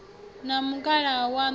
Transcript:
na mukalaha waṋu ri ye